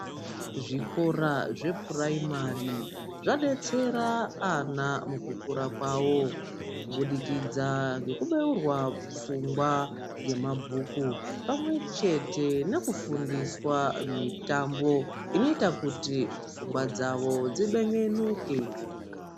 Zvikora zvepuraimari zvadetsera ana mukukura kwavo kubudikidza ngekubeurwa pfungwa ngemabhuku pamwechete nekufundiswa mitambo inoita kuti pfungwa dzavo dzibengenuke.